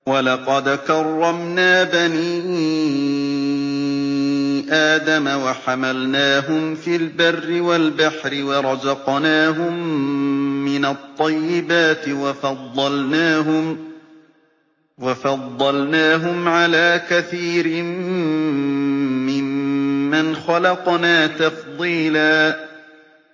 ۞ وَلَقَدْ كَرَّمْنَا بَنِي آدَمَ وَحَمَلْنَاهُمْ فِي الْبَرِّ وَالْبَحْرِ وَرَزَقْنَاهُم مِّنَ الطَّيِّبَاتِ وَفَضَّلْنَاهُمْ عَلَىٰ كَثِيرٍ مِّمَّنْ خَلَقْنَا تَفْضِيلًا